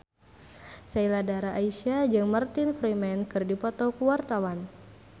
Sheila Dara Aisha jeung Martin Freeman keur dipoto ku wartawan